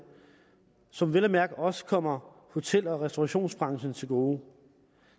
og som vel at mærke også kommer hotel og restaurationsbranchen til gode